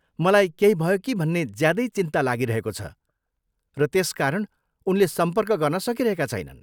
मलाई केही भयो कि भन्ने ज्यादै चिन्ता लागिरहेको छ र त्यसकारण उनले सम्पर्क गर्न सकिरहेका छैनन्।